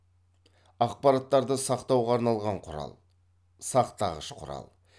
ақпараттарды сақтауға арналған құрал сақтағыш құрал